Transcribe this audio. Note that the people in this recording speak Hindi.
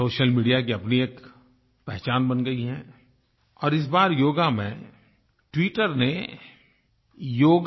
सोशल मीडिया की अपनी एक पहचान बन गयी है और इस बार योग में ट्विटर ने योगा